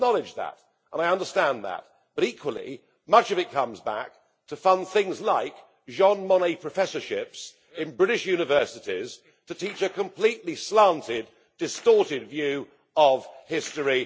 I acknowledge that and I understand that but, equally, much of it comes back to fund things like Jean Monnet professorships in British universities to teach a completely slanted, distorted view of history.